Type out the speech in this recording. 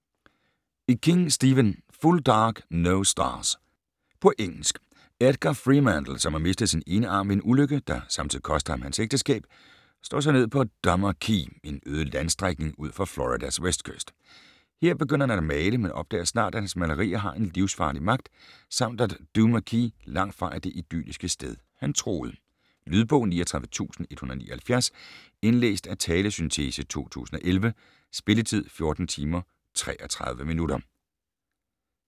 King, Stephen: Full dark, no stars På engelsk. Edgar Freemantle, som har mistet sin ene arm ved en ulykke, der samtidig kostede ham hans ægteskab, slår sig ned på Duma Key, en øde landstrækning ud for Floridas vestkyst. Her begynder han at male, men opdager snart, at hans malerier har en livsfarlig magt, samt at Duma Key langt fra er det idylliske sted, han troede. Lydbog 39179 Indlæst af talesyntese, 2011. Spilletid: 14 timer, 33 minutter.